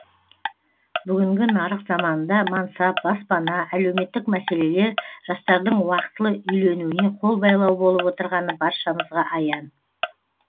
бүгінгі нарық заманында мансап баспана әлеуметтік мәселелер жастардың уақытылы үйленуіне қол байлау болып отырғаны баршамызға аян